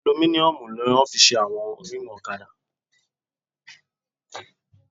Alumíníọ̀mù ni wọ́n fi ṣe àwọn rímùù ọ̀kadà